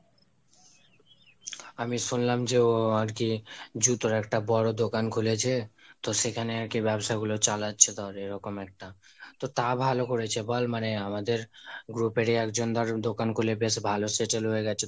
আমি শুনলাম যে ও আর কি জুতোর একটা বড়ো দোকান খুলেছে, তো সেখানে আর কি ব্যবসাগুলো চালাচ্ছে তাহলে এরকম একটা। তো তা ভালো করেছে বল? মানে আমাদের group এর ই একজন ধর দোকান খুলে বেশ ভালো settle হয়ে গেছে।